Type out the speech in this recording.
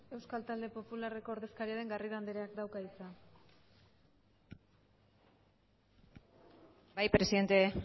euskal talde popularreko ordezkaria den garrido andreak dauka hitza bai presidente